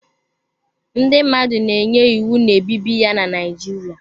Ndị mmadụ na-enye iwu na-ebibi ya na Naijiria.